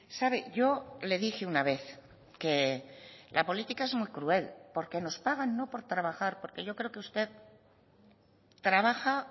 sabe yo le dije una vez que la política es muy cruel porque nos pagan no por trabajar porque yo creo que usted trabaja